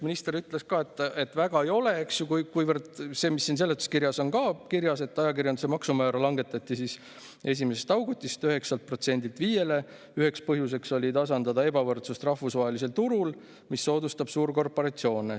Minister ütles ka, et väga ei ole, kuivõrd see, mis siin seletuskirjas on kirjas, et ajakirjanduse maksumäära langetati 1. augustist 9%-lt 5-le – selle üheks põhjuseks oli tasandada ebavõrdsust rahvusvahelisel turul, mis soodustab suurkorporatsioone.